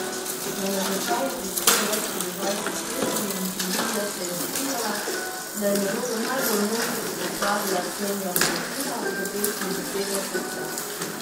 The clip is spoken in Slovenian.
Na natečaj je prispelo več kot dvajset pesmi in komisija se je strinjala, da je nalogo najbolj mojstrsko opravila Ksenija Bratina v pesmi Besede srca.